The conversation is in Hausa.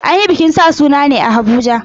An yi bikin sa sunan ne a Abuja.